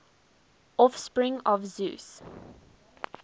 offspring of zeus